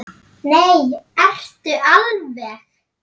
Nei, ertu alveg.